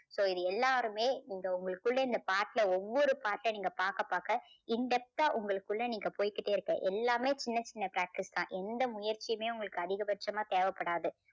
so இது எல்லாருமே இந்த உங்களுக்குள்ள இந்த பாட்டுல ஒவ்வொரு பாட்ட நீங்க பாக்க பாக்க in depth ஆ உங்களுக்குள்ள நீங்க போய்க்கிட்டே இருக்க எல்லாமே சின்ன சின்ன factors தான். எந்த முயற்சியுமே உங்களுக்கு அதிகபட்சமா தேவைப்படாது.